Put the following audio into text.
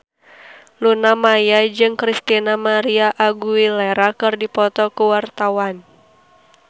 Luna Maya jeung Christina María Aguilera keur dipoto ku wartawan